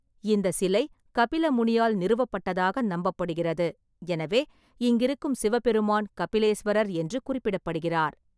இந்தச் சிலை கபில முனியால் நிறுவப்பட்டதாக நம்பப்படுகிறது, எனவே இங்கிருக்கும் சிவபெருமான் கபிலேஸ்வரர் என்று குறிப்பிடப்படுகிறார்.